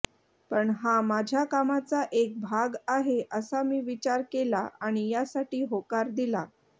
पण हा माझ्या कामाचा एक भाग आहे असा मी विचार केला आणि यासाठी होकार दिला